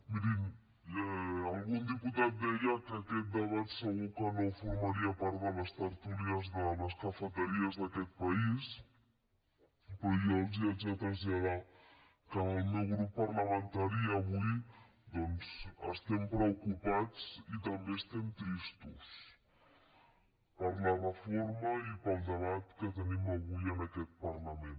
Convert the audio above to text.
mirin algun diputat deia que aquest debat segur que no formaria part de les tertúlies de les cafeteries d’aquest país però jo els haig de traslladar que en el meu grup parlamentari avui doncs estem preocupats i també estem tristos per la reforma i pel debat que tenim avui en aquest parlament